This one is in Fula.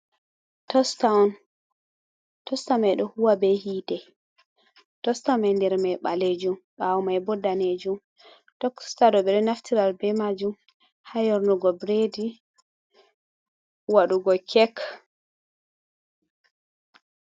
Tosta'on, Tasta mai ɗo Huwa be Hite, Tosta mai nder mai Ɓalejum ɓawo maibo Danejum, Tokstaɗo ɓeɗo Naftiral be Majum ha Yornugo biredi, Waɗugo Kek.